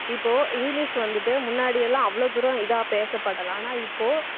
இப்போ இங்கிலிஷ் வந்துட்டு முன்னாடி எல்லாம் அவ்வளவு தூரம் இதா பேசப்படல ஆனா இப்போ